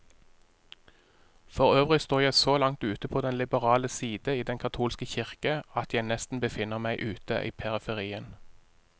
Forøvrig står jeg så langt ute på den liberale side i den katolske kirke, at jeg nesten befinner meg ute i periferien.